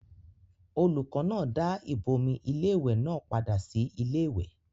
olùkọ́ náà dá ìbomi iléwẹ̀ náà padà sí iléwẹ̀